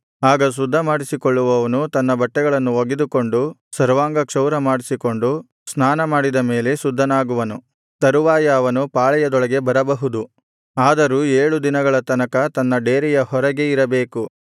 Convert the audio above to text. ಆಗ ಶುದ್ಧಮಾಡಿಸಿಕೊಳ್ಳುವವನು ತನ್ನ ಬಟ್ಟೆಗಳನ್ನು ಒಗೆದುಕೊಂಡು ಸರ್ವಾಂಗಕ್ಷೌರ ಮಾಡಿಸಿಕೊಂಡು ಸ್ನಾನಮಾಡಿದ ಮೇಲೆ ಶುದ್ಧನಾಗುವನು ತರುವಾಯ ಅವನು ಪಾಳೆಯದೊಳಗೆ ಬರಬಹುದು ಆದರೂ ಏಳು ದಿನಗಳ ತನಕ ತನ್ನ ಡೇರೆಯ ಹೊರಗೆ ಇರಬೇಕು